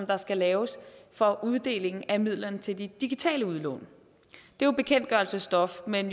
der skal laves for uddeling af midler til de digitale udlån det er jo bekendtgørelsesstof men